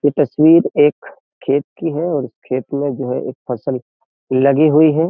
ये तस्वीर एक खेत की है और इस खेत में जो है एक फसल लगी हुई है।